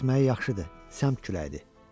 Əsməyi yaxşıdır, səmtd küləkdir.